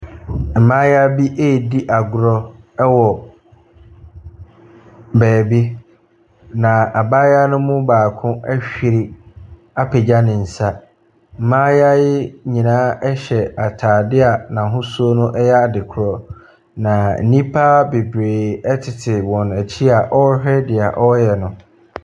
Mmaayewa bi ɛredi agorɔ wɔ beebi, na mmaayewa ne mu baako ahw apagya ne nsa. Mmaayewa yi nyinaa hyɛ ataadeɛ n’ahosuo no yɛ ade korɔ. Na nnipa bebree tete wɔn akyi a wɔrehwɛ dea wɔreyɛ no.